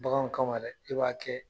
Bagan kama dɛ i b'a kɛ.